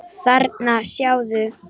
Þarna, sjáðu